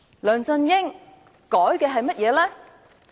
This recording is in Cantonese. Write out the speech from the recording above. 梁振英修改了甚麼？